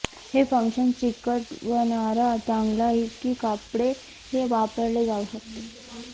हे फंक्शन चिकटवणारा टांगला की कपडे वापरले जाऊ शकते